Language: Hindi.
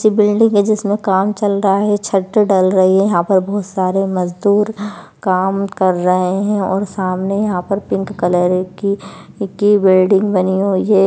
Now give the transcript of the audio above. बिल्डिंग है जिसमें काम चल रहा है छत डल रही है यहां पर बहुत सारे मजदूर काम कर रहे हैं और सामने यहां पर पिंक कलर की की बिल्डिंग बनी हुई हैं।--